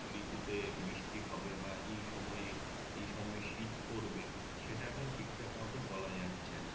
ঋতুতে বৃষ্টি হবে বা এই সময়ে এই সময়ে শীত পরবে সেটা এখন ঠিকঠাক মত বলা যাচ্ছে না